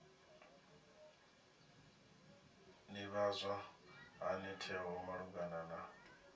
ḓivhadzwa hani tsheo malugana na